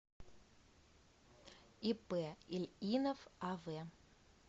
ип ильинов ав